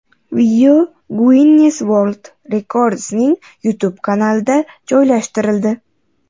Video Guinness World Records’ning YouTube kanaliga joylashtirildi .